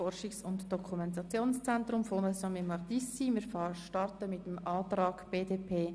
Zunächst befinden wir über den Antrag BDP.